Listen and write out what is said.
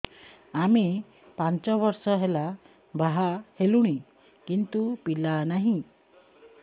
ଆମେ ପାଞ୍ଚ ବର୍ଷ ହେଲା ବାହା ହେଲୁଣି କିନ୍ତୁ ପିଲା ନାହିଁ